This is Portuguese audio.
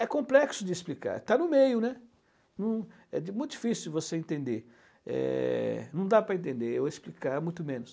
É complexo de explicar, está no meio, né, não, é muito difícil você entender, não dá para entender ou explicar muito menos.